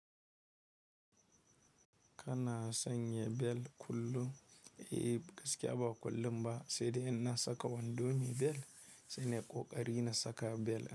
Kana sanya bel kullum? Eh gaskiya ba kullum ba, sai dai in na saka wando me bel, sai nai ƙoƙari na saka bel.